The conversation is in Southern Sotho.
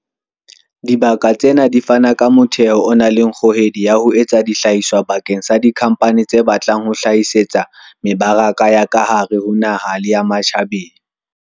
Dibaka tsena di fana ka motheo o nang le kgohedi ya ho etsa dihlahiswa bakeng la dikhampani tse batlang ho hlahisetsa mebaraka ya ka hare ho naha le ya ma tjhabeng.